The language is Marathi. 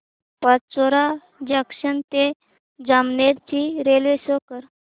पाचोरा जंक्शन ते जामनेर ची रेल्वे शो कर